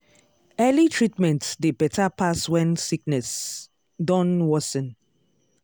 early treatment dey better pass when sickness don worsen.